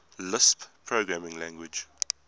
lisp programming language